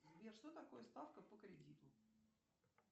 сбер что такое ставка по кредиту